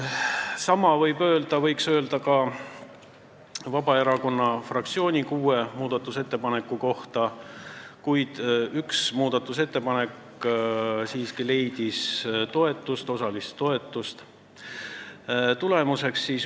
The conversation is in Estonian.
Sama võib öelda ka Vabaerakonna fraktsiooni kuue muudatusettepaneku kohta, ehkki üks muudatusettepanek leidis siiski osalist toetust.